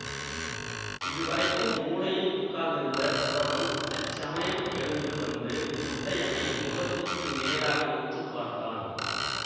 இதுவரைக்கும் மூலையில் உட்கார்ந்திருந்த குறவன் அச்சமயம் எழுந்து வந்து முத்தையனை முகத்துக்கு நேராக உற்று பார்த்தான்